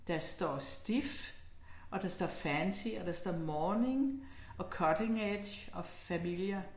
Der står stiff, og der står fancy og der står morning og cutting edge og familiar